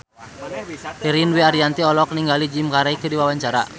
Ririn Dwi Ariyanti olohok ningali Jim Carey keur diwawancara